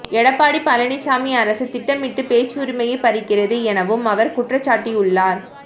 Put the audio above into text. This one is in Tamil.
எடப்பாடி பழனிசாமி அரசு திட்டமிட்டு பேச்சுரிமையைப் பறிக்கிறது எனவும் அவர் குற்றம்சாட்டியுள்ளார்